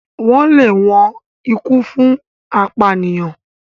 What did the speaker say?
wón lè wón ikú fún apànìyàn.